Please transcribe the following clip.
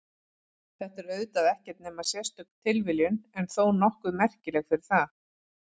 Þetta er auðvitað ekkert nema sérstök tilviljun en þó nokkuð merkileg fyrir það.